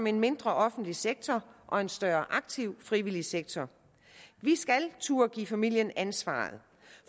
en mindre offentlig sektor og en større aktiv frivillig sektor vi skal turde give familierne ansvaret